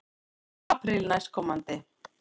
Apríl næstkomandi.